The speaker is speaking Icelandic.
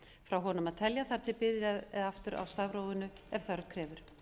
frá honum að telja þar til byrjað er aftur á stafrófinu ef þörf krefur